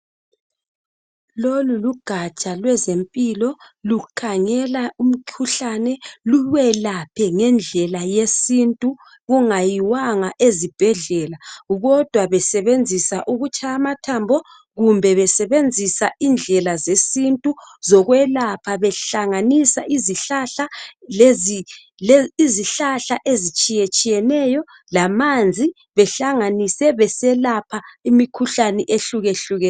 Lolu lugaja lwezempilo. Lukhangela umkhuhlane. Lukwelaphe ngendlela yesintu. Kungayiwanga ezibhedlela, kodwa besebenzisa ukutshaya amathambo, kumbe besebenzisa indlela zesintu zokwelapha. Behlanganisa izihlahla lezi ezitshiyetshiyeneyo lamanzi. Behlanganise, beselapha imikhuhlane, ehlukehlukeneyo.